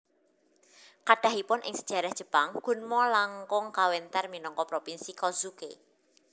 Kathahipun ing sejarah Jepang Gunma langkung kawéntar minangka Propinsi Kozuke